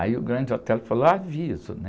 Aí o Grande Otelo falou, aviso, né?